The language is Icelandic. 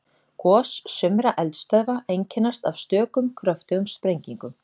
Gos sumra eldstöðva einkennast af stökum kröftugum sprengingum.